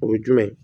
O ye jumɛn ye